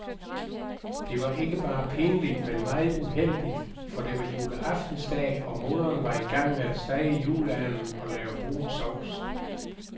Det var ikke bare pinligt, men meget uheldigt, for det var juleaftensdag og moderen var i gang med at stege juleanden og lave brun sovs.